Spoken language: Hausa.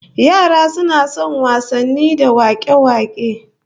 Yara suna son wasanni da wak'e-wak'e